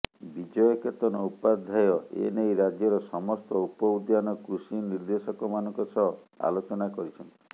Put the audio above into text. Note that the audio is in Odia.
ବିଜୟ କେତନ ଉପାଧ୍ୟାୟ ଏ ନେଇ ରାଜ୍ୟର ସମସ୍ତ ଉପ ଉଦ୍ୟାନ କୃଷି ନିର୍ଦ୍ଦେଶକମାନଙ୍କ ସହ ଆଲୋଚନା କରିଛନ୍ତି